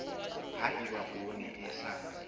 ha eba poone e sa